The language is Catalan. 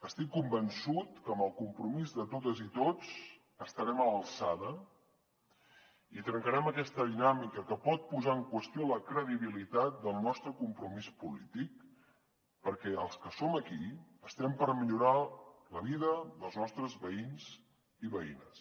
estic convençut que amb el compromís de totes i tots estarem a l’alçada i trencarem aquesta dinàmica que pot posar en qüestió la credibilitat del nostre compromís polític perquè els que som aquí estem per millorar la vida dels nostres veïns i veïnes